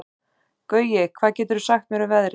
Gaui, hvað geturðu sagt mér um veðrið?